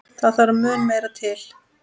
Það þarf mun meira til.